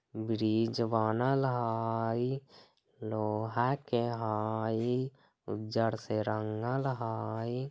ब्रिज बनल हई लोहा के हई उज्जर से रंगल हई।